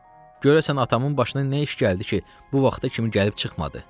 Görəsən atamın başına nə iş gəldi ki, bu vaxta kimi gəlib çıxmadı?